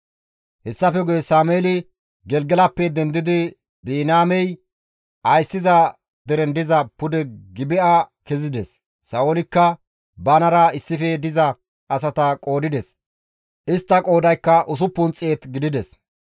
Hessafe guye Sameeli Gelgelappe dendidi Biniyaamey ayssiza deren diza pude Gibi7a kezides; Sa7oolikka banara issife diza asata qoodides; istta qoodaykka 600 gidides.